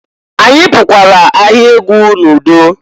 Anyị pukwara ahịa egwu n'udo.